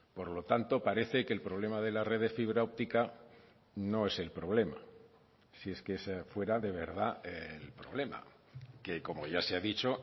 por lo tanto parece que el problema de la red de fibra óptica no es el problema si es que ese fuera de verdad el problema que como ya se ha dicho